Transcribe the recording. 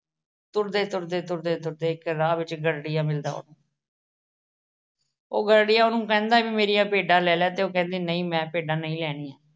ਤੁਰਦੇ ਤੁਰਦੇ ਤੁਰਦੇ ਤੁਰਦੇ ਇੱਕ ਰਾਹ ਵਿੱਚ ਇੱਕ ਗਡਰੀਆ ਮਿਲਦਾ ਉਹਨੂੰ। ਉਹ ਗਡਰੀਆ ਉਹਨੂੰ ਕਹਿੰਦਾ ਵੀ ਮੇਰੀਆਂ ਭੇਡਾਂ ਲੈ ਲੈ ਤੇ ਉਹ ਕਹਿੰਦੀ ਨਹੀਂ ਮੈਂ ਭੇਡਾਂ ਨਹੀਂ ਲੈਣੀਆਂ।